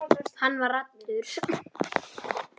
Hann var allur.